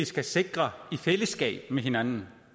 skal sikre i fællesskab med hinanden